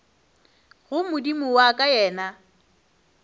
go modimo wa ka yena